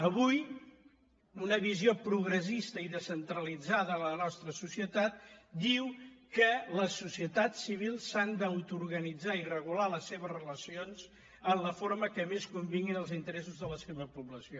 avui una visió progressista i descentralitzada a la nostra societat diu que la societat civil s’ha d’autoorganitzar i regular les seves relacions en la forma que més convingui als interessos de la seva població